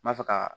N b'a fɛ ka